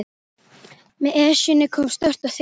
Með Esjunni kom stórt og þykkt bréf.